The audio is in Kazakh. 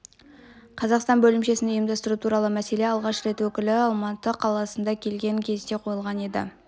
қазақстан бөлімшесін ұйымдастыру туралы мәселе алғаш рет өкілі алматы қаласына келген кезде қойылған еді